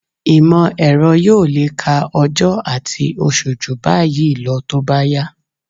Ìmọ̀-ẹ̀rọ yóò lè ka ọjọ́ àti oṣù jù báyìí lọ tó bá yá